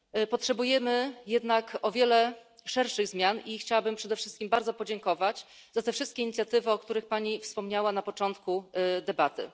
Potrzebujemy jednak o wiele szerszych zmian i chciałabym przede wszystkim bardzo podziękować za te wszystkie inicjatywy, o których Pani wspomniała na początku debaty.